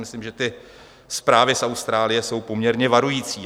Myslím, že ty zprávy z Austrálie jsou poměrně varující.